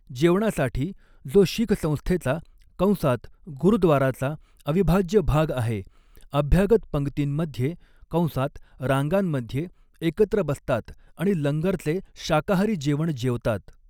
जेवणासाठी, जो शीख संस्थेचा कंसात गुरुद्वाराचा अविभाज्य भाग आहे, अभ्यागत पंगतींमध्ये कंसात रांगांमध्ये एकत्र बसतात आणि लंगरचे शाकाहारी जेवण जेवतात.